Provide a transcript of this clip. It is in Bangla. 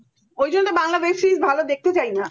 হম ঐজন্য বাংলা web series ভালো দেখতে চাই না